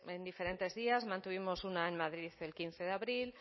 en diferentes días mantuvimos una en madrid el quince de abril